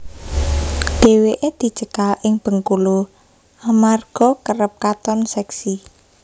Dheweke dicekal ing Bengkulu amarga kerep katon seksi